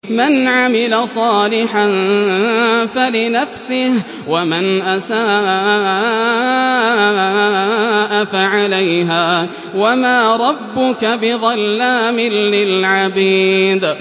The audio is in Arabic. مَّنْ عَمِلَ صَالِحًا فَلِنَفْسِهِ ۖ وَمَنْ أَسَاءَ فَعَلَيْهَا ۗ وَمَا رَبُّكَ بِظَلَّامٍ لِّلْعَبِيدِ